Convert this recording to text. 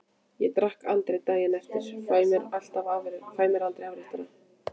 Ég drekk aldrei daginn eftir, fæ mér aldrei afréttara.